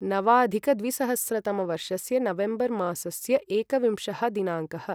नवाधिकद्विसहस्रतमवर्षस्य November मासस्य एकविंशः दिनाङ्कः